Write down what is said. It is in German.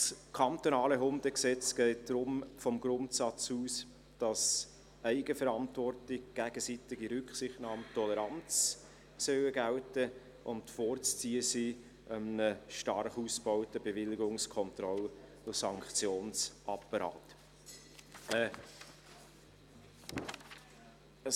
Das kantonale Hundegesetz geht vom Grundsatz aus, dass Eigenverantwortung, gegenseitige Rücksichtnahme und Toleranz gelten sollen, und dieser einem stark ausgebauten Bewilligungs-, Kontroll- und Sanktionsapparat vorzuziehen ist.